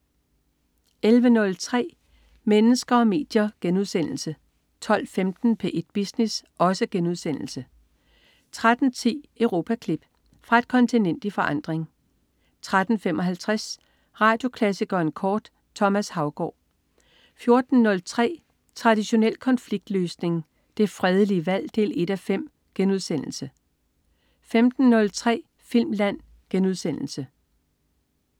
11.03 Mennesker og medier* 12.15 P1 Business* 13.10 Europaklip. Fra et kontinent i forandring 13.55 Radioklassikeren kort. Thomas Haugaard 14.03 Traditionel konfliktløsning. Det fredelige valg 1:5* 15.03 Filmland*